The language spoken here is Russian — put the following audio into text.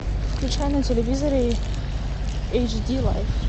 включай на телевизоре эйч ди лайф